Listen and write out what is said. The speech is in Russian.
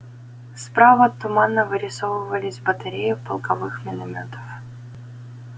справа туманно вырисовывались батареи полковых миномётов